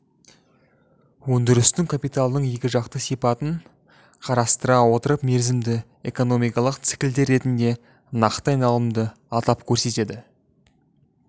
өндірістік капиталдың екі жақты сипатын қарастыра отырып мерзімді экономикалық циклдер ретінде нақты айналымды атап көрсетеді